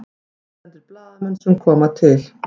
Erlendir blaðamenn sem koma til